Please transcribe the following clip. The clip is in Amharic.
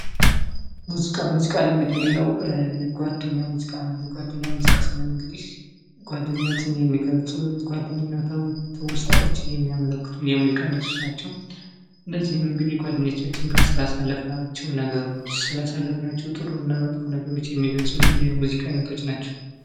ሙዚቃ:-መዚቃ እንግዲህ ሌላው የጓደኛ ሙዚቃ ነው። የጓደኛ ሙዚቃ ስንል እንግዲህ ጓደኝነትን የሚገልፁ ጓደኝነትን ትውስታዎችን የሚያመለክቱ የሙዚቃ አይነቶች ናቸው። እነዚህም እንግዲህ ጓደኞቻችን ጋ ስላሳለፍናቸው ነገሮች ስላሳለፍናቸው ጥሩ እና መጥፎ ነገሮች የሚገልፁልን የሙዚቃ አይነቶች ናቸው።